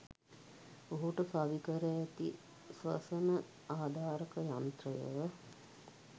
ඔහුට සවි කර ඇති ස්වසන ආධාරක යන්ත්‍රය